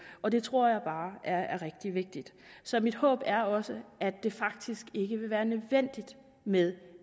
og det tror jeg bare er er rigtig vigtigt så mit håb er også at det faktisk ikke vil være nødvendigt med